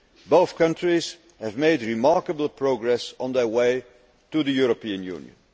Both countries have made remarkable progress on their way to the European